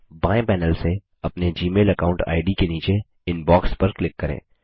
बायें पैनल से अपने जीमेल अकाऊंट आईडी के नीचे इनबॉक्स पर क्लिक करें